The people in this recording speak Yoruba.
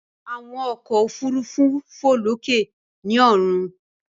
Àwọn ọkọ òfurufú fò lókè ni ọrun.